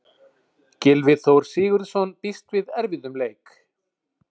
Gylfi Þór Sigurðsson býst við erfiðum leik.